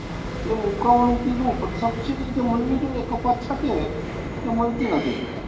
એ મુકાવાનું કીધું પણ subsidy જે મળવી જોઈએ કપાસ સાથે તે મળતી નથી